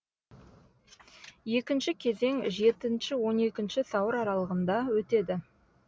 екінші кезең жетінші он екінші сәуір аралығында өтеді